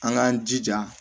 An k'an jija